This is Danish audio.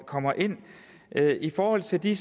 kommer ind i forhold til de